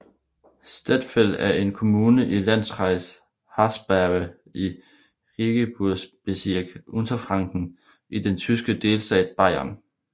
Stettfeld er en kommune i Landkreis Haßberge i Regierungsbezirk Unterfranken i den tyske delstat Bayern